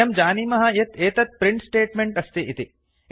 वयं जानीमः यत् एतत् प्रिंट् स्टेट्मेंट् अस्ति इति